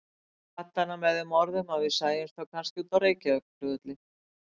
Ég kvaddi hana með þeim orðum að við sæjumst þá kannski úti á Reykjavíkurflugvelli.